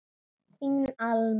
Þín Alma.